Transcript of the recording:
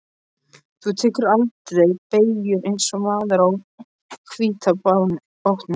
Þú tekur aldrei beygjur eins og maðurinn á hvíta bátnum.